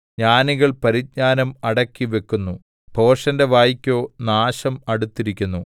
ജ്ഞാനികൾ പരിജ്ഞാനം അടക്കിവെക്കുന്നു ഭോഷന്റെ വായ്ക്കോ നാശം അടുത്തിരിക്കുന്നു